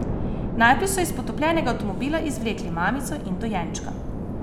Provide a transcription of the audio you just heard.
Najprej so iz potopljenega avtomobila izvlekli mamico in dojenčka.